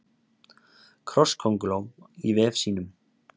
Krosskönguló í vef sínum.